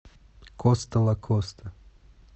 коста лакоста